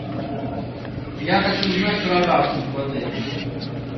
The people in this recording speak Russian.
я хочу узнать про рафтинг в отеле